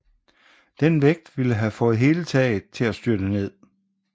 Den vægt ville have fået hele taget til at styrte ned